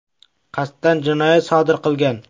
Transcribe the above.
qasddan jinoyat sodir qilgan.